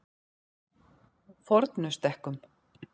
Fornustekkum